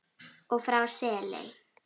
og frá Seley.